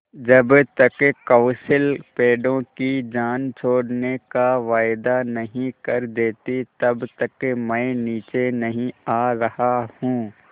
जब तक कौंसिल पेड़ों की जान छोड़ने का वायदा नहीं कर देती तब तक मैं नीचे नहीं आ रहा हूँ